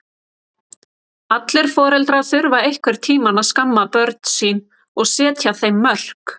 Allir foreldrar þurfa einhvern tíma að skamma börn sín og setja þeim mörk.